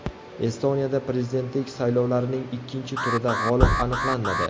Estoniyada prezidentlik saylovlarining ikkinchi turida g‘olib aniqlanmadi.